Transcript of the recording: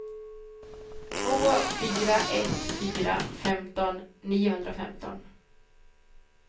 två fyra ett fyra femton niohundrafemton